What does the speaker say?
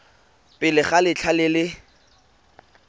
pele ga letlha le le